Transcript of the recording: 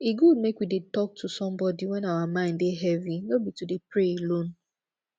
e good make we dey talk to somebody wen our mind dey heavy no be to dey pray alone